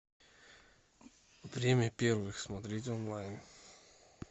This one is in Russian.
время первых смотреть онлайн